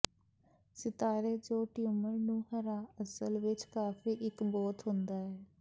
ਸਿਤਾਰੇ ਜੋ ਟਿਊਮਰ ਨੂੰ ਹਰਾ ਅਸਲ ਵਿੱਚ ਕਾਫ਼ੀ ਇੱਕ ਬਹੁਤ ਹੁੰਦਾ ਹੈ